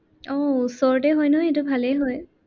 আহ ওচৰতে হয় নহয়, সেইটো ভালে হয়।